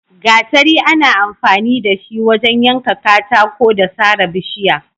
Gatari ana amfani da shi wajen yanka katako da sare bishiya.